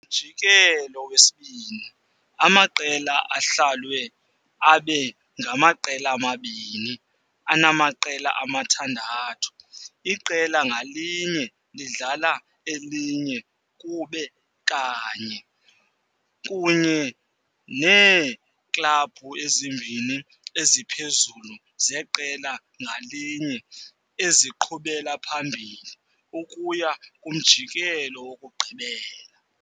Kumjikelo wesibini, amaqela ahlalwe abe ngamaqela amabini anamaqela amathandathu, iqela ngalinye lidlala elinye kube kanye, kunye neeklabhu ezimbini eziphezulu zeqela ngalinye eziqhubela phambili ukuya kumjikelo wokugqibela.